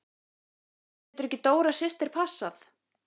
En getur ekki Dóra systir passað?